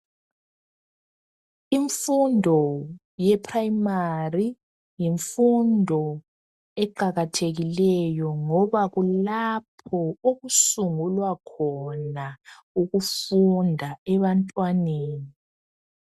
Imfundo ye"primary "yimfundo eqakathekileyo ngoba kulapho okusungulwa khona ukufunda ebantwaneni.